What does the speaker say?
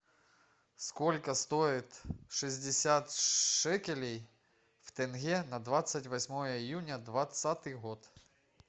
сколько стоит шестьдесят шекелей в тенге на двадцать восьмое июня двадцатый год